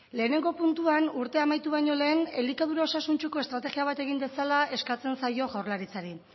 lehenengo puntuan urtea amaitu baino lehen elikadura osasuntsuko estrategia bat egin dezala eskatzen zaio jaurlaritzari